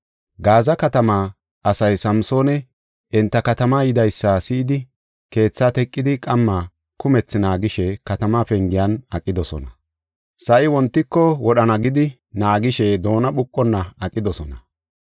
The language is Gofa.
Gaaza katamaa asay Samsooni enta katamaa yidaysa si7idi keetha teqidi qamma kumethi naagishe katamaa pengiyan aqidosona. Sa7i wontiko wodhana gidi naagishe doona phuqona aqidosona.